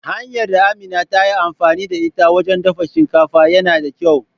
Hanyar da Amina ta yi amfani da ita wajen dafa shinkafa yana da kyau.